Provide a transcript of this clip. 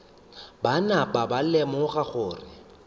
ba napa ba lemoga gore